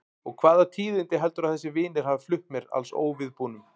Og hvaða tíðindi heldurðu að þessir vinir hafi flutt mér alls óviðbúnum?